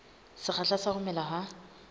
sekgahla sa ho mela ha